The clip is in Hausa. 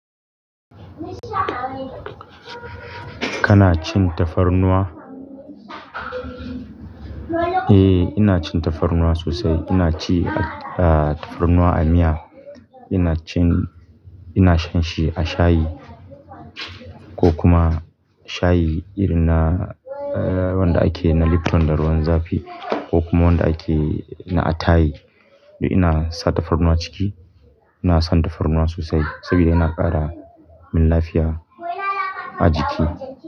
Kana cin tafarnuwa? Eh, ina cin tafarnuwa sosai. Ina ci, ah, tafarnuwa a miya. Ina cin, ina shan shi a shayi ko kuma shayi irin na, eh, wanda ake na Lipton da ruwan zafi ko kuma wanda ake na attayi. Ina sa tafarnuwa ciki. Ina son tafarnuwa sosai saboda yana ƙara min lafiya a jiki.